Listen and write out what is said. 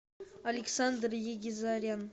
александр егизарян